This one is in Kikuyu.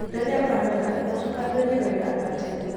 Rĩrĩa ũramera, ũcokanĩrĩrie wega na tĩĩri.